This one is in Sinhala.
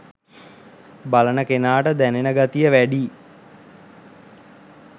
බලන කෙනාට දැනෙන ගතිය වැඩියි